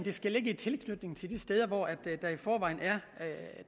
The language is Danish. skal ligge i tilknytning til de steder hvor der i forvejen